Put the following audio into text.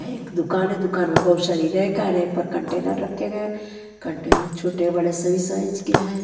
एक दुकान है दुकान में बहुत सारी रैक है रैक पर कंटेनर रखे गए हैं कंटेनर छोटे-बड़े सभी साइज के हैं।